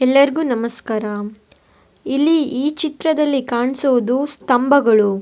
ಎಲ್ಲರಿಗು ನಮಸ್ಕಾರ ಇಲ್ಲಿ ಈ ಚಿತ್ರದಲ್ಲಿ ಕಾಣಿಸುವುದು ಸ್ಥಂಭಗಳು.